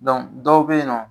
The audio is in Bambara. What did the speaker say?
Dɔn dɔw be yen nɔ